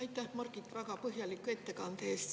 Aitäh, Margit, väga põhjaliku ettekande eest!